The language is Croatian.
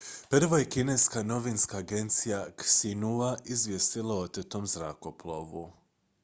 prvo je kineska novinska agencija xinhua izvijestila o otetom zrakoplovu